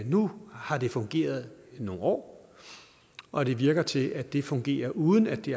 nu har det fungeret i nogle år og det virker til at det fungerer uden at det